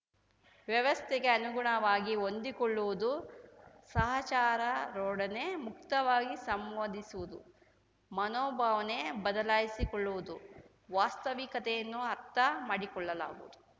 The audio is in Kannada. ವ್ಯವಸ್ಥೆಗೆ ಅನುಗುಣವಾಗಿ ಹೊಂದಿಕೊಳ್ಳುವುದು ಸಹಚರಾರೊಡನೆ ಮುಕ್ತವಾಗಿ ಸಂವಾದಿಸುವುದು ಮನೋಭಾವನೆ ಬದಲಾಯಿಸಿಕೊಳ್ಳುವುದು ವಾಸ್ತವಿಕತೆಯನ್ನು ಅರ್ಥ ಮಾಡಿಕೊಳ್ಳಲಾಗುವುದು